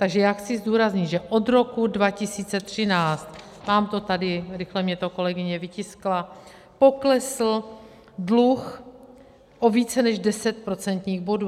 Takže já chci zdůraznit, že od roku 2013 - mám to tady, rychle mi to kolegyně vytiskla - poklesl dluh o více než 10 procentních bodů.